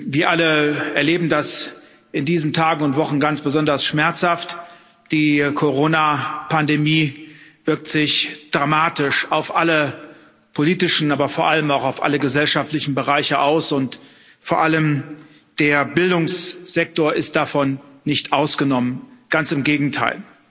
Wir alle erleben das in diesen Tagen und Wochen ganz besonders schmerzhaft Die Corona Pandemie wirkt sich dramatisch auf alle politischen, aber vor allem auch auf alle gesellschaftlichen Bereiche aus, und vor allem der Bildungssektor ist davon nicht ausgenommen ganz im Gegenteil.